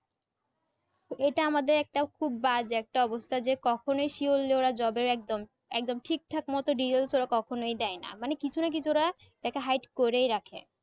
এটা আমাদের একটা খুব বাজে একটা অবস্থা যে কখনোই surely job এর একদম একদম ঠিক থাক মতো details ওরা কখনোই দেয়না মানে কিছু না কিছু ওরা ওটাকে hide করেই রাখে